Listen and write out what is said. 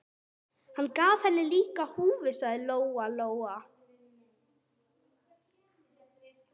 Hann gaf henni líka húfu, sagði Lóa Lóa.